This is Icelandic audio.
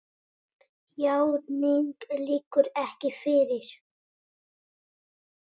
Játning liggur ekki fyrir.